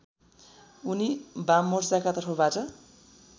उनी वाममोर्चाका तर्फबाट